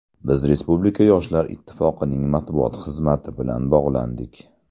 Biz Respublika Yoshlar Ittifoqining matbuot xizmati bilan bog‘landik.